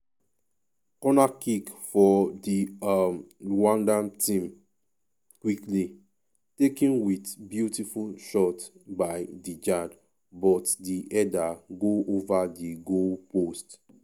5mins- corner kick for di um rwandan team quickly um taken wit beautiful shot by djihad but di header go ova di goalpost.